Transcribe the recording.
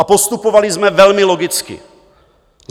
A postupovali jsme velmi logicky.